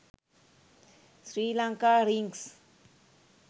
sri lanka rings